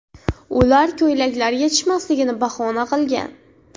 Ular koykalar yetishmasligini bahona qilgan.